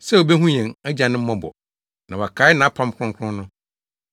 sɛ obehu yɛn agyanom mmɔbɔ na wakae nʼapam kronkron no,